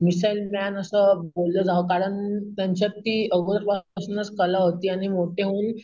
missile man असं बोललं जाव कारण कारण त्यांच्यात ती अगदी लहानपणा पासूनच कला होती आणि मोठे होऊन